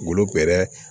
Golo bɛrɛ